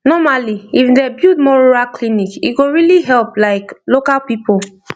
normally if dem build more rural clinic e go really help like local people